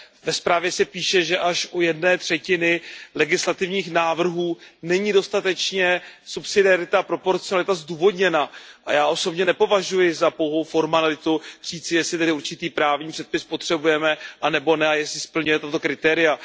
Ve zprávě se píše, že až u jedné třetiny legislativních návrhů není dostatečně subsidiarita a proporcionalita zdůvodněna, a já osobně nepovažuji za pouhou formalitu říci, jestli tedy určitý právní předpis potřebujeme anebo ne a jestli splňuje tato kritéria.